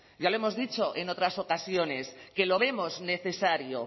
ya lo hemos dicho en otras ocasiones que lo vemos necesario